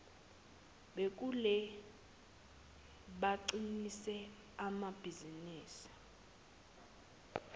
bakhule baqinise namabhizinisi